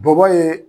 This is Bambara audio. Bɔbɔ ye